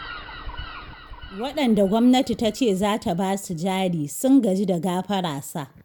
Waɗanda gwamnati ta ce za ta basu jari, sun gaji da gafara sa.